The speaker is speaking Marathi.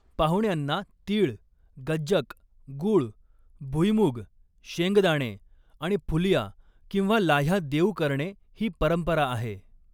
पाहुण्यांना तीळ, गज्जक, गूळ, भुईमुग शेंगदाणे आणि फुलिया किंवा लाह्या देऊ करणे ही परंपरा आहे.